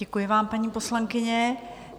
Děkuji vám, paní poslankyně.